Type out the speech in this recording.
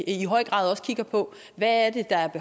i høj grad også kigger på hvad det er